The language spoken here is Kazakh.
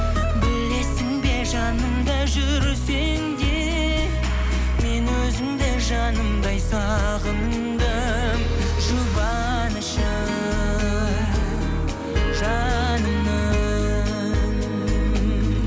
білесің бе жанымда жүрсең де мен өзіңді жанымдай сағындым жұбанышы жанымның